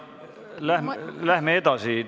Läheme edasi.